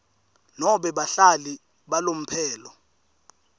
nobe bahlali balomphelo